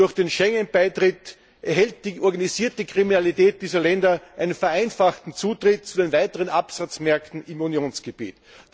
Durch den Schengen Beitritt erhält die organisierte Kriminalität dieser Länder einen vereinfachten Zutritt zu weiteren Absatzmärkten im Unionsgebiet.